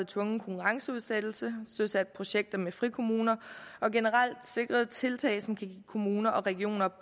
tvungen konkurrenceudsættelse søsat projekter med frikommuner og generelt sikret tiltag som kan give kommuner og regioner